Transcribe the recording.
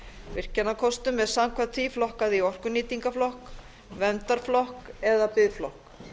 virkjunarkostum er samkvæmt því flokkað í orkunýtingarflokk verndarflokk eða biðflokk